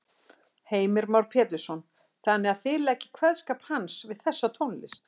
Heimir Már Pétursson: Þannig að þið leggið kveðskap hans við þessa tónlist?